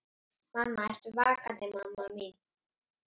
Mamma, ertu vakandi mamma mín?